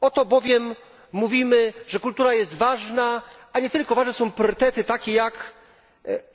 Oto bowiem mówimy, że kultura jest ważna, a nie tylko ważne są priorytety takie jak